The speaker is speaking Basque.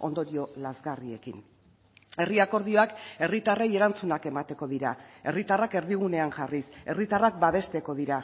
ondorio lazgarriekin herri akordioak herritarrei erantzunak emateko dira herritarrak erdigunean jarriz herritarrak babesteko dira